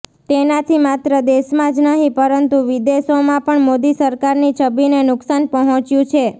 તેનાથી માત્ર દેશમાં જ નહિ પરંતુ વિદેશોમાં પણ મોદી સરકારની છબીને નુકસાન પહોંચ્યું છે